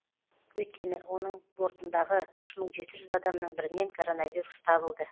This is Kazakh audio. өйткені оның бортындағы үш мың жеті жүз адамның бірінен коронавирус табылды